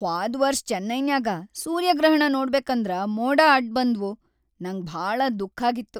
ಹ್ವಾದ್ ವರ್ಷ್ ಚೆನ್ನೈನ್ಯಾಗ ಸೂರ್ಯಗ್ರಹಣ್ ನೋಡ್ಬೇಕಂದ್ರ ಮೋಡ ಅಡ್ಬಂದ್ವು ನಂಗ ಭಾಳ ದುಃಖ್ಖಾಗಿತ್ತು.